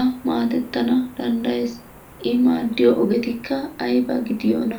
A maadettana danddayees. I maaddiyo ogetikka ayba gidana danddayiyoonaa?